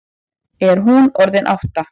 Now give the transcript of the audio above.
Er hún orðin átta?